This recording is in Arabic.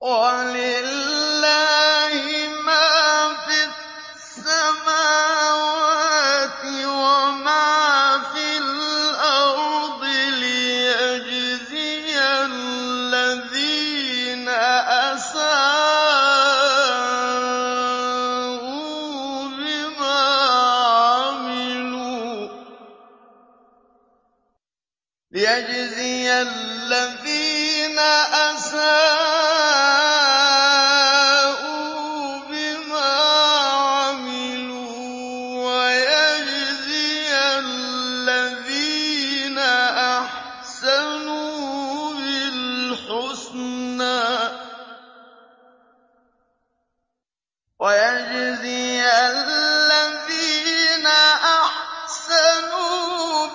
وَلِلَّهِ مَا فِي السَّمَاوَاتِ وَمَا فِي الْأَرْضِ لِيَجْزِيَ الَّذِينَ أَسَاءُوا بِمَا عَمِلُوا وَيَجْزِيَ الَّذِينَ أَحْسَنُوا